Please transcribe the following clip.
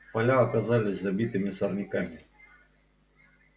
поля оказались забитыми сорняками